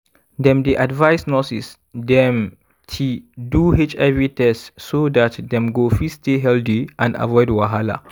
dem dey advise nurses dem ti do hiv test so dat dem go fit stay healthy and avoid wahala.